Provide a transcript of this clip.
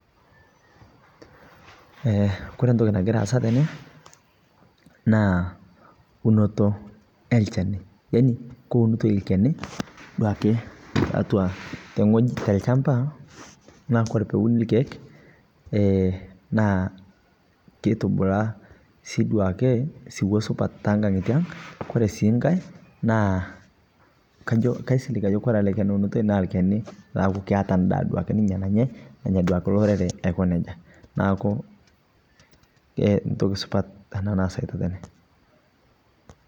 Eeh kore ntoki nagira aasa tene naa unuto e elchani yaani keunutoi elchani duake teatua te ng'oji te ilchambaa naaku kore pee euni lkiek eeh naa keitubulaa sii duake siwuo supaat te nkaanyitiang . Kore sii nkai naa kajoo kaisiling' kore ele lchani eunutoi naa lchani naaku keeta ndaa ninye nanyai. Nanyaa duake ninchee lorerek aiko nejaa. Naaku e ntoki supaat ana neasitai tene.